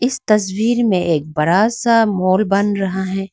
इस तस्वीर में एक बड़ा सा मॉल बन रहा है।